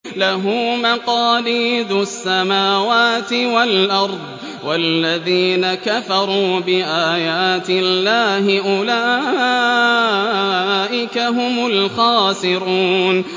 لَّهُ مَقَالِيدُ السَّمَاوَاتِ وَالْأَرْضِ ۗ وَالَّذِينَ كَفَرُوا بِآيَاتِ اللَّهِ أُولَٰئِكَ هُمُ الْخَاسِرُونَ